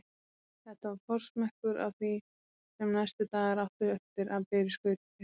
Þetta var forsmekkur að því sem næstu dagar áttu eftir að bera í skauti sér.